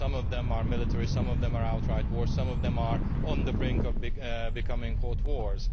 Some of them are military, some of them are outright war, and some of them are on the brink of becoming cold wars.